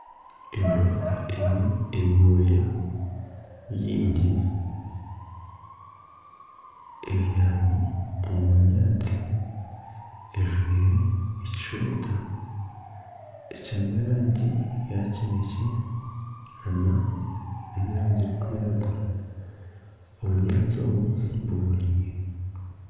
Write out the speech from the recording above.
Embwa eine ebyoya bingi, ebyami omu bunyaatsi. Ejwaire eshweta erimu erangi ya kinekye n'erangi erikwiragura. Obunyaatsi obu buboneire.